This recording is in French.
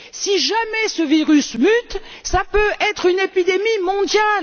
Si jamais ce virus mute, cela peut être une épidémie mondiale.